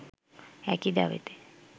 একই দাবিতে